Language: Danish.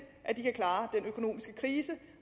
at de kan klare den økonomiske krise